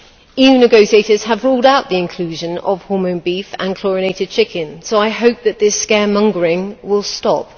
EU negotiators have ruled out the inclusion of hormone beef and chlorinated chicken, so I hope that this scaremongering will stop.